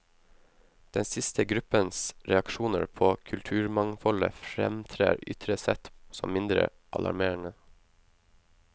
Den siste gruppens reaksjoner på kulturmangfoldet fremtrer ytre sett som mindre alarmerende.